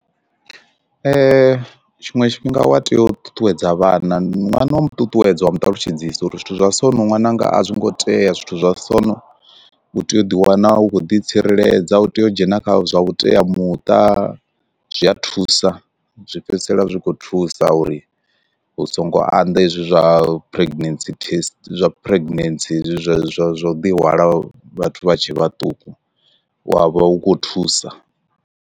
Tshiṅwe tshifhinga wa tea u ṱuṱuwedza vhana ṅwana wa mu ṱuṱuwedza wa mu ṱalutshedzisa uri zwithu zwa so no ṅwananga a zwi ngo tea zwithu zwa so u tea u ḓi wana u khou ḓi tsireledza u tea u dzhena kha zwa vhuteamuṱa, zwi a thusa zwi fhedzisela zwi khou thusa uri hu songo anḓa hezwi zwa pregnancy test zwa pregnancy zwa zwa zwa u ḓi hwala vhathu vha tshe vhaṱuku wa vha u khou thusa.